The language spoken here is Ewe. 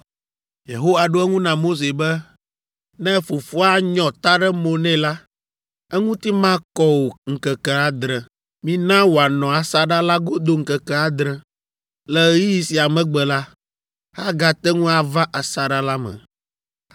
Yehowa ɖo eŋu na Mose be, “Ne fofoa nyɔ ta ɖe mo nɛ la, eŋuti makɔ o ŋkeke adre. Mina wòanɔ asaɖa la godo ŋkeke adre. Le ɣeyiɣi sia megbe la, agate ŋu ava asaɖa la me.”